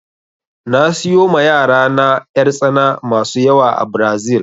Na siyo ma yarana 'yartsana masu yawa a Brazil